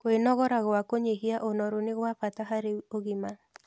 Kwĩogora gwa kũnyĩhĩa ũnorũ nĩ gwa bata harĩ ũgima